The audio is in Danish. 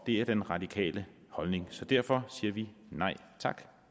det er den radikale holdning så derfor siger vi nej tak